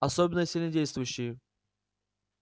особенно сильнодействующие